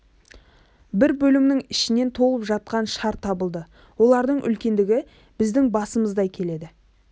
бір бөлімнің ішінен толып жатқан шар табылды олардың үлкендігі біздің басымыздай келеді